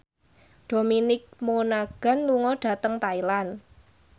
Dominic Monaghan lunga dhateng Thailand